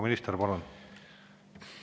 Minister, palun!